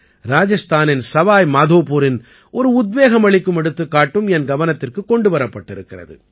ராஜஸ்தானின் சவாயி மாதோபுரின் ஒரு உத்வேகமளிக்கும் எடுத்துக்காட்டும் என் கவனத்திற்குக் கொண்டு வரப்பட்டிருக்கிறது